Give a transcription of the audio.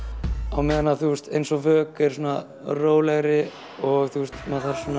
á meðan að þú veist eins og er svona rólegri og maður þarf